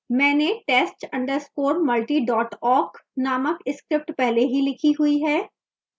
मैंने test _ multi awk named script पहले ही लिखी हुई है